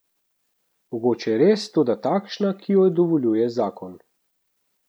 Mogoče res, toda takšna, ki jo dovoljuje zakon.